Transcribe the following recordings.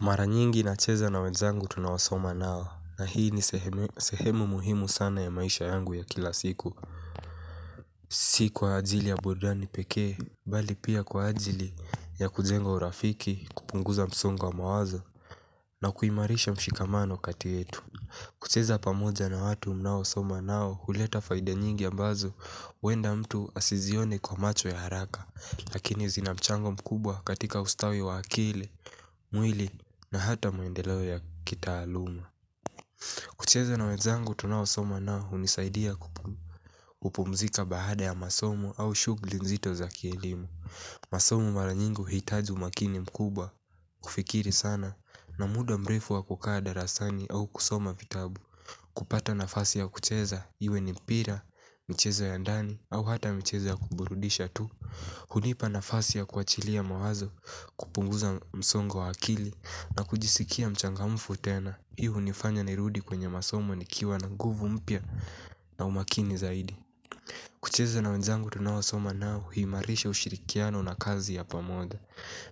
Mara nyingi nacheza na wenzangu tunaosoma nao na hii ni sehemu muhimu sana ya maisha yangu ya kila siku si kwa ajili ya burudani pekee bali pia kwa ajili ya kujenga urafiki kupunguza msongo wa mawazo. Na kuimarisha mshikamano kati yetu kucheza pamoja na watu mnaosoma nao huleta faida nyingi ambazo huenda mtu asizione kwa macho ya haraka lakini zinamchango mkubwa katika ustawi wa akili mwili na hata maendeleo ya kita kitaaluma. Kucheza na wenzangu tunaosoma nao hunisaidia kupumzika baada ya masomo au shuguli nzito za kielimu. Masomo mara nyingi huhitaji umakini mkubwa. Kufikiri sana na muda mrefu wa kukaa darasani au kusoma vitabu. Kupata nafasi ya kucheza iwe ni mpira, michezo ya ndani au hata michezo ya kuburudisha tu. Hunipa nafasi ya kuachilia mawazo kupunguza msongo wa akili na kujisikia mchangamfu tena. Hi hunifanya nirudi kwenye masomo nikiwa na nguvu mpya na umakini zaidi. Kucheza na wenzangu tunaosoma nao huimarisha ushirikiano na kazi ya pamoja.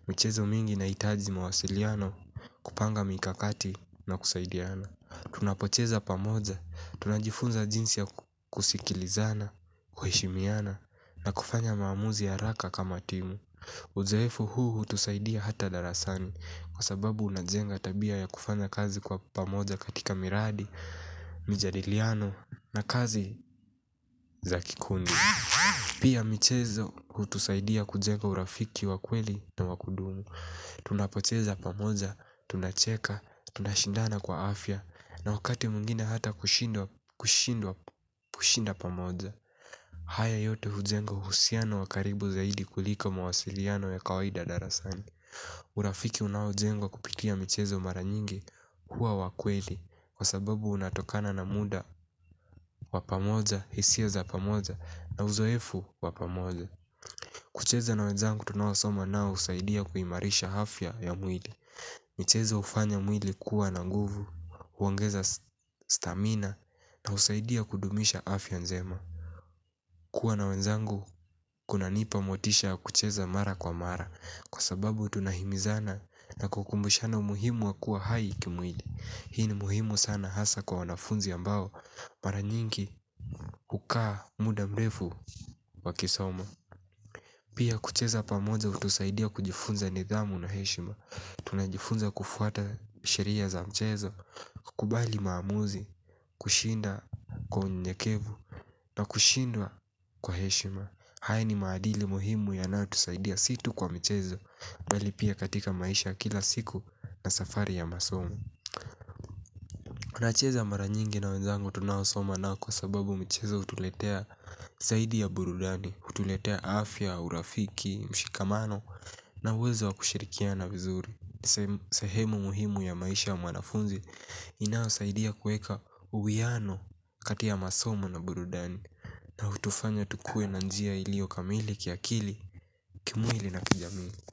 Michezo mingi inahitaji mawasiliano kupanga mikakati na kusaidiana. Tunapocheza pamoja, tunajifunza jinsi ya kusikilizana, kuheshimiana na kufanya maamuzi haraka kama timu. Uzoefu huu hutusaidia hata darasani kwa sababu unajenga tabia ya kufanya kazi kwa pamoja katika miradi, mijadiliano na kazi za kikundi. Pia michezo hutusaidia kujenga urafiki wa kweli na wa kudumu. Tunapocheza pamoja, tunacheka, tunashindana kwa afya na wakati mwingine hata kushinda pamoja. Haya yote hujenga uhusiano wa karibu zaidi kuliko mawasiliano ya kawaida darasani. Urafiki unaojengwa kupitia michezo mara nyingi hua wa kweli. Kwa sababu unatokana na muda wa pamoja, hisia za pamoja na uzoefu wa pamoja. Kucheza na wenzangu tunaosoma nao husaidia kuimarisha afya ya mwili. Michezo hufanya mwili kuwa na guvu, huongeza stamina na husaidia kudumisha afya njema. Kuwa na wenzangu kuna nipa motisha kucheza mara kwa mara. Kwa sababu tunahimizana na kukumbushana umuhimu wa kuwa hai kimwili. Hii ni muhimu sana hasa kwa wanafunzi ambao mara nyingi hukaa muda mrefu wakisoma. Pia kucheza pamoja hutusaidia kujifunza nidhamu na heshima. Tunajifunza kufuata sheria za mchezo. Kubali maamuzi kushinda kwa unyenyekevu na kushindwa kwa heshima. Haya ni maadili muhimu yanao tusaidia si tu kwa mchezo bali pia katika maisha ya kila siku na safari ya masomo tuna cheza mara nyingi na wanzangu tunao soma nao kwa sababu michezo hutuletea zaidi ya burudani, hutuletea afya, urafiki, mshikamano na uwezo wa kushirikiana vizuri. Sehemu muhimu ya maisha ya mwanafunzi inayosaidia kueka uwiano kati ya masomo na burudani. Na hutufanya tukue na njia ilio kamili kiakili, kimwili na kijamii.